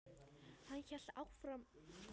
Hann hélt áfram í lestinni á leiðinni heim.